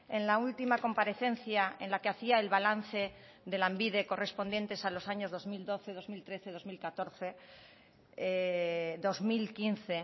en la última comparecencia en la que hacía el balance de lanbide correspondiente a los años dos mil doce dos mil trece dos mil catorce dos mil quince